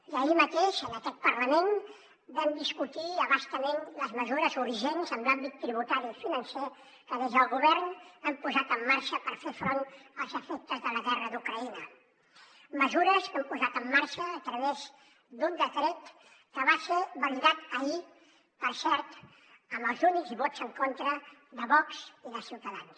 i ahir mateix en aquest parlament vam discutir a bastament les mesures urgents en l’àmbit tributari i financer que des del govern hem posat en marxa per fer front als efectes de la guerra d’ucraïna mesures que hem posat en marxa a través d’un decret que va ser validat ahir per cert amb els únics vots en contra de vox i de ciutadans